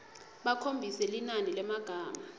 bakhombise linani lemagama